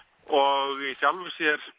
og í sjálfu sér